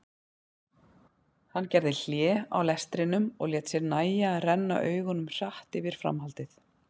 Hann gerði hlé á lestrinum og lét sér nægja að renna augunum hratt yfir framhaldið.